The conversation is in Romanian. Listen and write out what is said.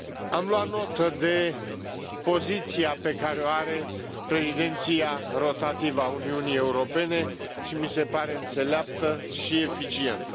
Am luat notă de poziția pe care o are președinția rotativă a Uniunii Europene și mi se pare înțeleaptă și eficientă.